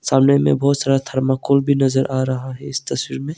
सामने में बहोत सारा थर्माकोल भी नजर आ रहा है इस तस्वीर में।